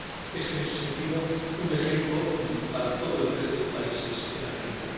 Es, en ese sentido, un ejemplo para todo el resto de países en América.